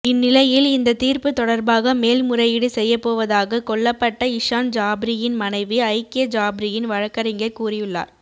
இந்நிலையில் இந்த தீர்ப்பு தொடர்பாக மேல் முறையீடு செய்யப்போவதாக கொல்லப்பட்ட இஷான் ஜாப்ரியின் மனைவி ஐக்கியா ஜாப்ரியின் வழக்கறிஞர் கூறியுள்ளார்